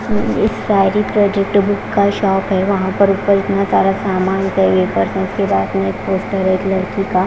book का shop है वहां पर ऊपर इतना सारा सामान के बाद में एक पोस्टर है एक लड़की का--